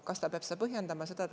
Kas ta peab seda põhjendama?